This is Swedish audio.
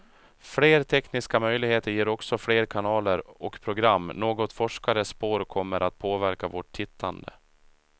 Fler tekniska möjligheter ger också fler kanaler och program, något forskare spår kommer att påverka vårt tittande.